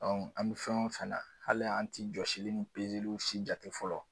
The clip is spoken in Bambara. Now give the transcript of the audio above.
an mɛ fɛn o fɛn na hali an ti jɔsili ni pezeliw si jate fɔlɔ.